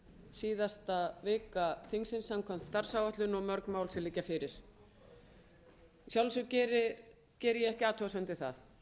síðasta vika þingsins samkvæmt starfsáætlun og mörg mál sem liggja fyrir að sjálfsögðu geri ég ekki athugasemd við það